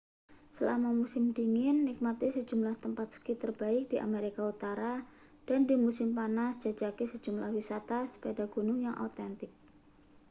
selama musim dingin nikmati sejumlah tempat ski terbaik di amerika utara dan di musim panas jajaki sejumlah wisata sepeda gunung yang autentik